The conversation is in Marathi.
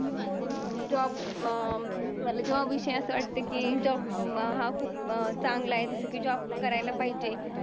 अं job अं मला job विषयी असं वाटतं की job हा खूप चांगला आहे जसं की job करायला पाहिजे.